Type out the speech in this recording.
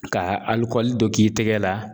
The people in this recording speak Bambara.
Ka alikɔli dɔ k'i tɛgɛ la